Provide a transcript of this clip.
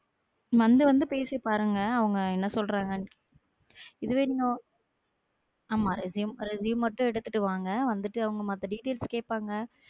வந்து வந்து பேசி பாருங்க அவங்க என்ன சொல்றாங்கன் இது வரைக்கும் ஆமா அந்த resume மட்டும் எடுத்துட்டு வாங்க அவங்க மத்த details கேட்பாங்க